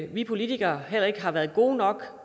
vi politikere ikke har været gode nok